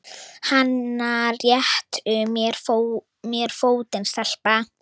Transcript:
Hana réttu mér fótinn, stelpa!